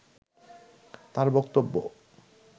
তার বক্তব্য